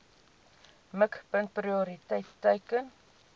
mikpunt prioriteit teiken